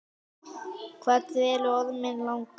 Hvað dvelur orminn langa?